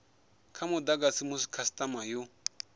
kwa mudagasi musi khasitama yo